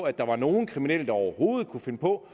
at der var nogen kriminelle der overhovedet kunne finde på